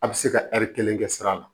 A bɛ se ka kelen kɛ sira la